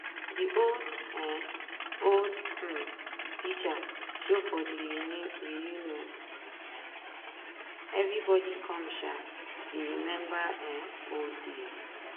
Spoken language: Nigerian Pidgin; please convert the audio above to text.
i no sha expect dem but e no bad as we sitdon for one table. gist as we drik too